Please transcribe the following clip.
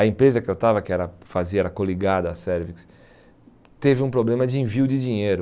A empresa que eu estava, que era fazia, era coligada à Servix, teve um problema de envio de dinheiro.